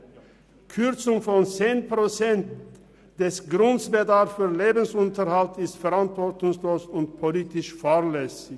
Eine Kürzung von 10 Prozent des Grundbedarfs für den Lebensunterhalt ist verantwortungslos und politisch fahrlässig.